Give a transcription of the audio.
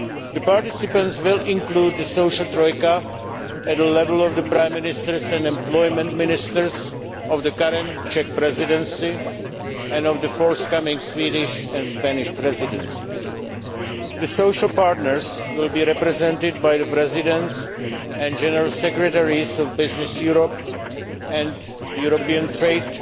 The participants will include the social troika at the level of the prime ministers and employment ministers of the current Czech Presidency and of the forthcoming Swedish and Spanish Presidencies. The social partners will be represented by the presidents and general secretaries of Business Europe and the European Trade